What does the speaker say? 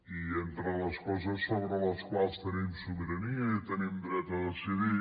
i entre les coses sobre les quals tenim sobirania i tenim dret a decidir